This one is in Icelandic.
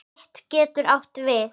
Fit getur átt við